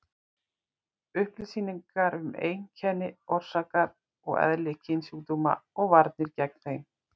Upplýsingar um einkenni, orsakir og eðli kynsjúkdóma og varnir gegn þeim.